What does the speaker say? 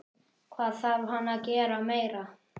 Hvað þarf hann að gera meira?